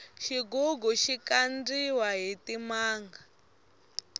xigugu xi kandiwa hi timanga